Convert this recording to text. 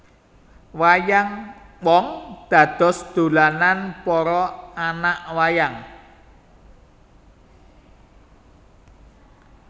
Wayang wong dados dolanan para anak wayang